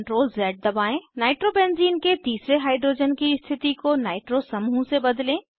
nitrobenzene nitrobenzene के तीसरे hydrogen की स्थिति को नाइट्रो समूह से बदलें